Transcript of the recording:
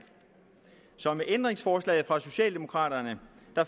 så med ændringsforslaget fra socialdemokraterne